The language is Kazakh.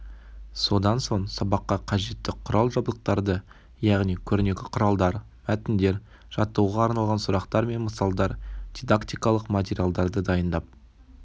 содан соң сабаққа қажетті құрал-жабдықтарды яғни көрнекі құралдар мәтіндер жаттығуға арналған сұрақтар мен мысалдар дидактикалық материалдарды дайындап